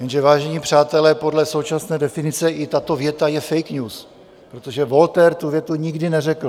Jenže, vážení přátelé, podle současné definice i tato věta je fake news, protože Voltaire tu větu nikdy neřekl.